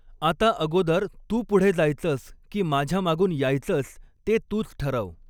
आता अगोदर तू पुढे जायचंस की माझ्यामागून यायचंस ते तूच ठरव.